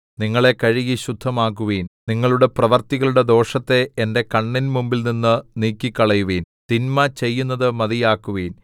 നിങ്ങളെ കഴുകി ശുദ്ധമാക്കുവിൻ നിങ്ങളുടെ പ്രവൃത്തികളുടെ ദോഷത്തെ എന്റെ കണ്ണിന്മുമ്പിൽനിന്നു നീക്കിക്കളയുവിൻ തിന്മ ചെയ്യുന്നതു മതിയാക്കുവിൻ